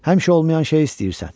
Həmişə olmayan şeyi istəyirsən.